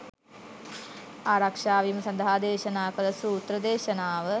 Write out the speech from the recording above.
ආරක්‍ෂාවීම සඳහා දේශනා කළ සූත්‍ර දේශනාව